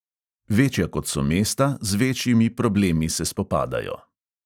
Večja kot so mesta, z večjimi problemi se spopadajo.